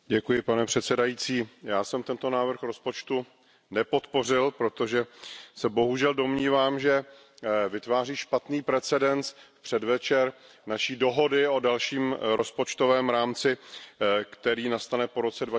Pane předsedající, já jsem tento návrh rozpočtu nepodpořil, protože se bohužel domnívám, že vytváří špatný precedens v předvečer naší dohody o dalším rozpočtovém rámci, který nastane po roce